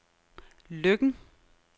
Løkken